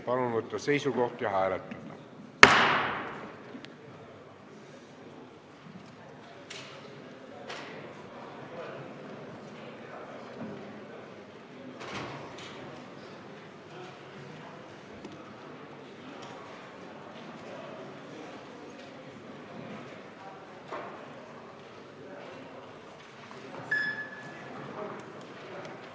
Palun võtta seisukoht ja hääletada!